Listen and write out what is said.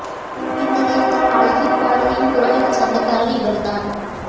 இந்த நேரத்தில் பல ஹிட் பாடல்களின் குரலுக்கு சொந்தக்காரர் இவர் தான்